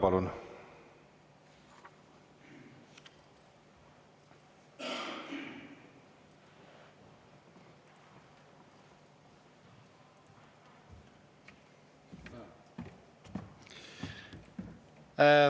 Palun!